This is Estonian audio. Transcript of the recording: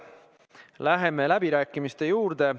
Läheme läbirääkimiste juurde.